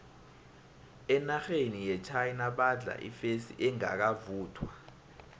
enarheni yechina badla ifesi engakavuthwa